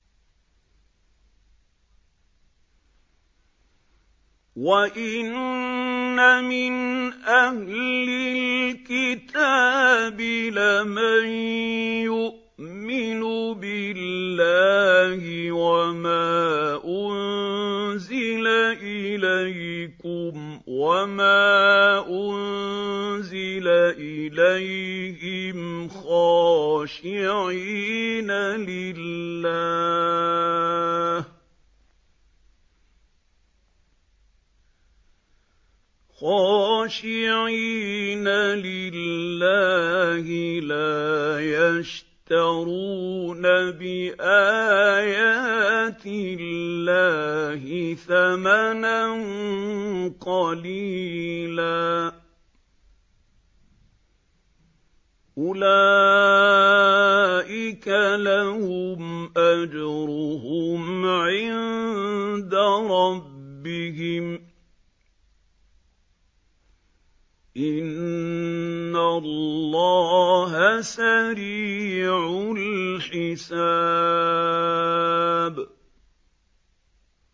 وَإِنَّ مِنْ أَهْلِ الْكِتَابِ لَمَن يُؤْمِنُ بِاللَّهِ وَمَا أُنزِلَ إِلَيْكُمْ وَمَا أُنزِلَ إِلَيْهِمْ خَاشِعِينَ لِلَّهِ لَا يَشْتَرُونَ بِآيَاتِ اللَّهِ ثَمَنًا قَلِيلًا ۗ أُولَٰئِكَ لَهُمْ أَجْرُهُمْ عِندَ رَبِّهِمْ ۗ إِنَّ اللَّهَ سَرِيعُ الْحِسَابِ